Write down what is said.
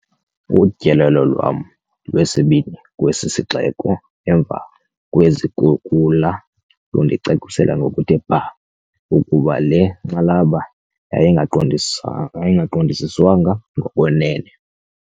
Utyelelo lwam lwesibini kwesi sixeko emva kwezikhukula, lundicacisele ngokuthe bhaa ukuba le nkxalabo yayingaqondisiswanga ngokwenene.